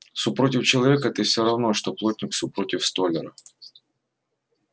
су против человека ты всё равно что плотник су против столяра